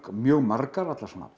mjög margar allar